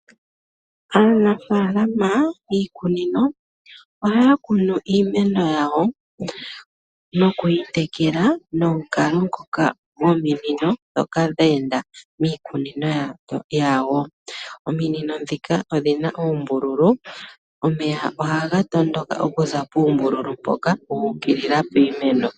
Aanafaalama yiikunino ohaya kunu iimeno yawo nokuyi tekela taya longitha omikalo dhominino ndhoka dhe enda miikunino yawo. Ominino ndhika dhi na uumbululu. Omeya ohaga tondoka okuga puumbululu mpoka gu ukilila piimeno.